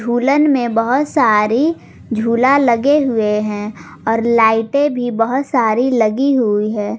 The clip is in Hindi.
उलन में बहोत सारी झूला लगे हुए हैं और लाइटें भी बहोत सारी लगी हुई है।